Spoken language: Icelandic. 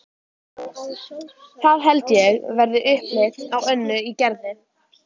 Það held ég verði upplit á Önnu í Gerði.